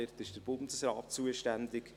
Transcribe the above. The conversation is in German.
Dort ist der Bundesrat zuständig.